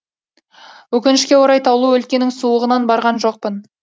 өкінішке орай таулы өлкенің суығынан барған жоқпын